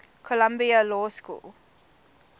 columbia law school